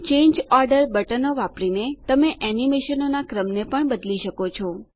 change order બટનો વાપરીને તમે એનીમેશનોનાં ક્રમને પણ બદલી શકો છો